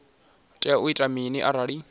tea u ita mini arali